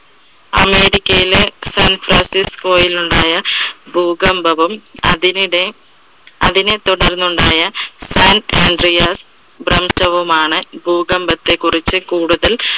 അമേരിക്കയിലെ സാൻ ഫ്രാൻസിസ്കോയിൽ ഉണ്ടായ ഭൂകമ്പവും, അതിനിടെ അതിനെ തുടർന്ന് ഉണ്ടായ san andreas ഭ്രംശവുമാണ് ഭൂകമ്പത്തെ കുറിച്ച് കൂടുതൽ